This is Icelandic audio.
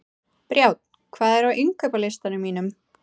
Brjánn, hvað er á innkaupalistanum mínum?